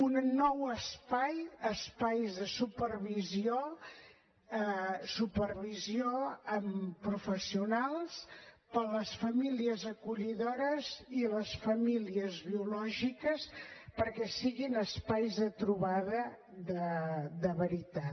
un nou espai espais de supervisió amb professionals per a les famílies acollidores i les famílies biològiques perquè siguin espais de trobada de veritat